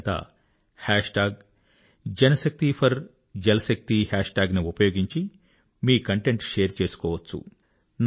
మీరంతా JanShakti4JalShakti hashtag ని ఉపయోగించి మీ కంటెంట్ షేర్ చేసుకోవచ్చు